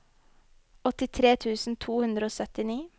åttitre tusen to hundre og syttini